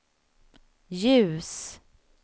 ljus